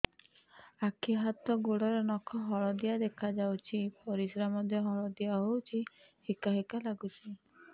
ଆଖି ହାତ ଗୋଡ଼ର ନଖ ହଳଦିଆ ଦେଖା ଯାଉଛି ପରିସ୍ରା ମଧ୍ୟ ହଳଦିଆ ହଉଛି ହିକା ହିକା ଲାଗୁଛି